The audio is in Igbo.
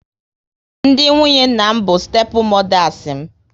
Ndị nwunye nna m bụ stepu modas m